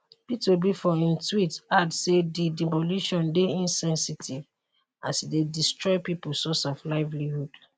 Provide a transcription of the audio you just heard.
peter obi for im tweet add say di demolition dey insensitive as e dey destroy pipo source of livelihood